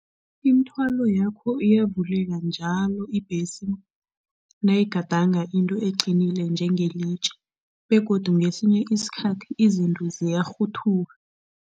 Imithwalo yakho iyavuleka njalo ibhesi nayigadanga into eqinile njengelitje begodu ngesinye isikhathi izinto ziyarhuthuka.